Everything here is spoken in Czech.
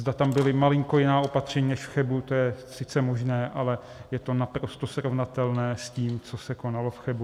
Zda tam byla malinko jiná opatření než v Chebu, to je sice možné, ale je to naprosto srovnatelné s tím, co se konalo v Chebu.